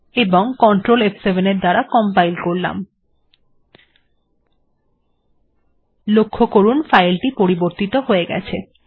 এবং কন্ট্রোল ফ7 এর দ্বারা কম্পাইল করা যাক লক্ষ্য করুন ফাইল টি পরিবর্তিত হয়ে গেছে